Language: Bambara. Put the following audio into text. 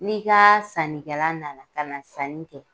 Ni ka sannikɛla nana ka na sanni kɛ